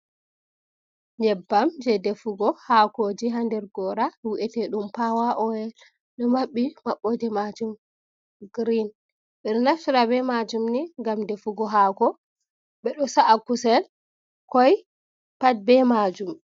Ƴebbam je defugo hakoji haa nder gora wu’ete ɗum pawa oil ɗo maɓɓi, mabbo de majum girin. Ɓe ɗo naftira be majum ni ngam defugo haako, ɓe ɗo sa’a kusel, koi pat be majum.